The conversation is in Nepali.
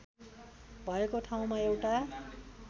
भएको ठाउँमा एउटा